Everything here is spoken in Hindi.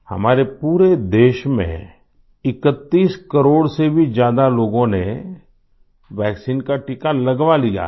हमारे पूरे देश में 31 करोड़ से भी ज्यादा लोगों ने वैक्सीन का टीका लगवा लिया है